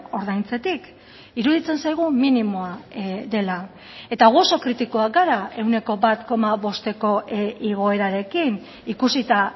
ordaintzetik iruditzen zaigu minimoa dela eta gu oso kritikoak gara ehuneko bat koma bosteko igoerarekin ikusita